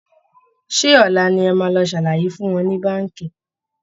Ṣé ọ̀la ni ẹ máa lọ ṣàlàyé fún wọn ní Báǹkì?